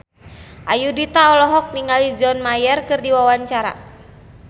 Ayudhita olohok ningali John Mayer keur diwawancara